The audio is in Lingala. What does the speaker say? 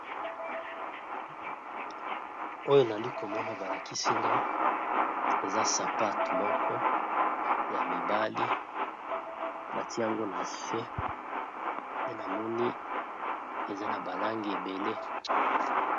Oyo nali komona balakisinga eza sapato moko ya mibali batiyango na se namoni eza na balangi ebele.